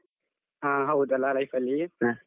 ಆ ಹೌದಲ life ಅಲ್ಲಿ.